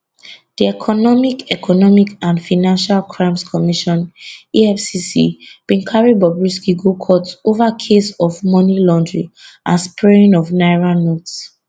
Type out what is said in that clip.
di economic economic and financial crimes commission efcc bin carry bobrisky go court ova case of money laundering and spraying of naira notes